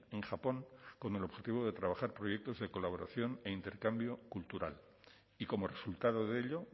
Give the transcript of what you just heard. en japón con el objetivo de trabajar proyectos de colaboración e intercambio cultural y como resultado de ello